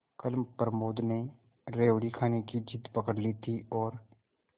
कल प्रमोद ने रेवड़ी खाने की जिद पकड ली थी और